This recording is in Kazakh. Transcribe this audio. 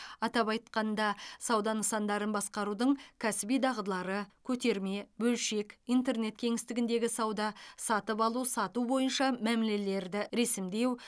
атап айтқанда сауда нысандарын басқарудың кәсіби дағдылары көтерме бөлшек интернет кеңістігіндегі сауда сатып алу сату бойынша мәмілелерді ресімдеу